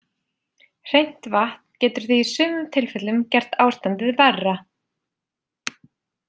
Hreint vatn getur því í sumum tilfellum gert ástandið verra.